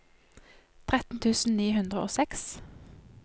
tretten tusen ni hundre og seks